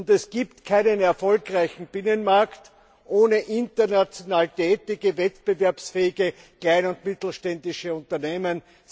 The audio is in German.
Es gibt keinen erfolgreichen Binnenmarkt ohne international tätige, wettbewerbsfähige kleine und mittelständische Unternehmen.